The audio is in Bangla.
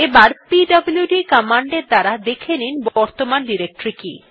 আবার পিডব্লুড কমান্ড এর দ্বারা দেখে নিন বর্তমান ডিরেক্টরী কি